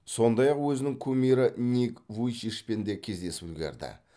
сондай ақ өзінің кумирі ник вуйчичпен де кездесіп үлгерді